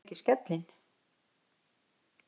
Heyrðuð þið ekki skellinn?